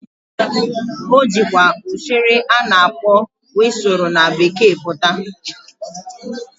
O jịkwa ụshụrị a na-akpo wịsụrụ na Bekee pụta.